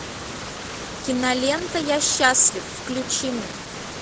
кинолента я счастлив включи мне